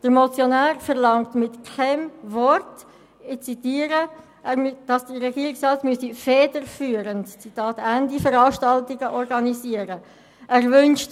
Der Motionär verlangt mit keinem Wort, dass der Regierungsrat – ich zitiere – «federführend» Veranstaltungen organisieren muss.